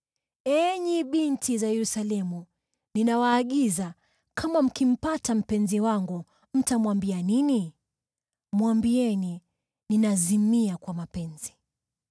Enyi binti za Yerusalemu, ninawaagiza: kama mkimpata mpenzi wangu, mtamwambia nini? Mwambieni ninazimia kwa mapenzi.